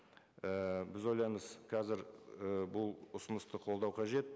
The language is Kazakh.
ііі біз ойлаймыз қазір і бұл ұсынысты қолдау қажет